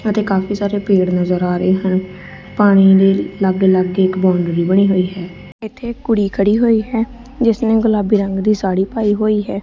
ਅਤੇ ਕਾਫੀ ਸਾਰੇ ਪੇੜ ਨਜ਼ਰ ਆ ਰਹੇ ਹਨ ਪਾਣੀ ਦੇ ਲਾਗੇ ਲਾਗੇ ਇਕ ਬਾਂਡਰੀ ਵੀ ਬਣੀ ਹੋਈ ਹੈ ਇੱਥੇ ਕੁੜੀ ਖੜੀ ਹੋਈ ਹੈ ਜਿਸ ਨੇ ਗੁਲਾਬੀ ਰੰਗ ਦੀ ਸਾ਼ੜੀ ਪਾਈ ਹੋਈ ਹੈ।